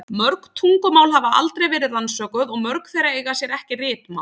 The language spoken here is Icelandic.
Mörg tungumál hafa aldrei verið rannsökuð og mörg þeirra eiga sér ekki ritmál.